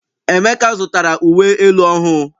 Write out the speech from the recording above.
Emeka zụtara uwe elu ọhụụ.